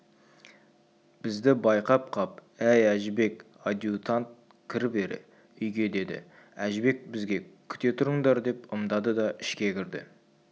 бізді байқап қап әй әжібек адъютант кір бері үйге деді әжібек бізге күте тұрыңдар деп ымдады да ішке кірді